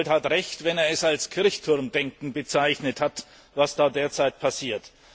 Giegold hat Recht, wenn er es als Kirchturmdenken bezeichnet hat, was da derzeit passiert.